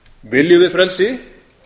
viljum við frelsi